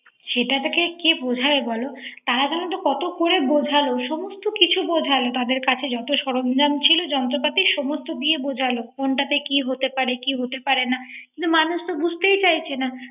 সেটকে কে বোঝায় বল। তারা জানো ত কত করে বোঝাল। সমস্ত কিছু বোঝাল তাদের কাছে যত সরঞ্জাম ছিল যন্ত্রপাতি সমস্ত দিয়ে বোঝাল কোনটাতে কি হতে, পারে কি হতে পারেনা। কিন্তু মানুষ তা বোজতেই চাইছে না।